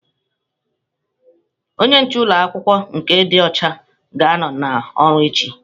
Onye nche ụlọ akwụkwọ nke dị ọcha ga-anọ n'ọrụ echi.